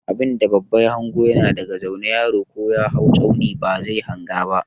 Abinda babba ya hanga yana daga zaune, yaro ko ya hau tsauni ba zai hanga ba.